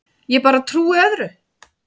Ég bara trúi öðru.